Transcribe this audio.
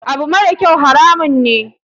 Abu marakyau haramun ne.